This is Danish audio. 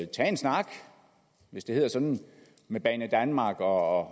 tage en snak hvis det hedder sådan med banedanmark og